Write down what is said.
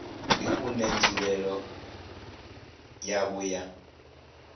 ndi une nzulele yawo ya